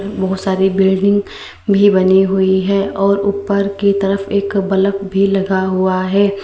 बहुत सारी बिल्डिंग भी बनी हुई है और ऊपर की तरफ एक बलब भी लगा हुआ है।